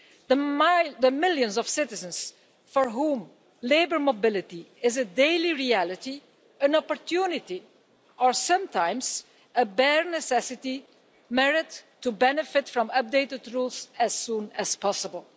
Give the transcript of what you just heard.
The millions of citizens for whom labour mobility is a daily reality, an opportunity, or sometimes a bare necessity, merit to benefit from updated rules as soon as possible.